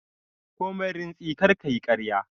Komai rintsi kar ka yi ƙarya!